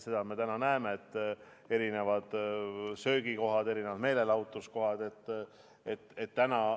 Seda me täna näeme, et söögikohad, erinevad meelelahutuskohad.